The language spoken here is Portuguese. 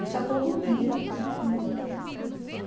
Isso é todo dia, todo dia.